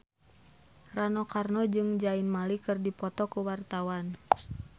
Rano Karno jeung Zayn Malik keur dipoto ku wartawan